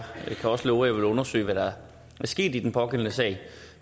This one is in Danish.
kan også love at jeg vil undersøge hvad der er sket i den pågældende sag